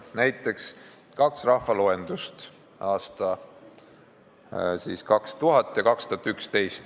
Võtame näiteks kaks rahvaloendust: aastatel 2000 ja 2011.